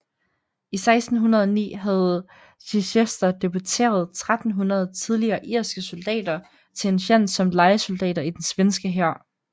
I 1609 havde Chichester deporteret 1300 tidligere irske soldater til en tjans som lejesoldater i den svenske hær